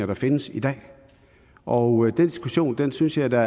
der findes i dag og den diskussion synes jeg da